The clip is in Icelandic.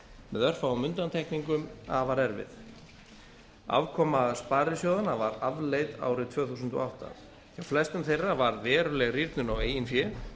með örfáum undantekningum afar erfið afkoma sparisjóðanna var afleit árið tvö þúsund og átta hjá flestum þeirra varð veruleg rýrnun á eigin fé